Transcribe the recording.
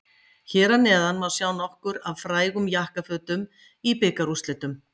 Hér að neðan má sjá nokkur af frægum jakkafötum í bikarúrslitum.